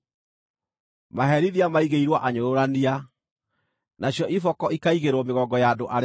Maherithia maigĩirwo anyũrũrania, nacio iboko ikaigĩrwo mĩgongo ya andũ arĩa akĩĩgu.